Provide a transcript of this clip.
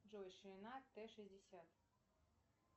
джой ширина т шестьдесят